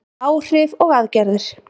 Áhrif og aðgerðir.